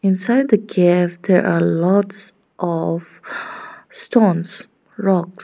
inside the cave there are lots of stones rocks.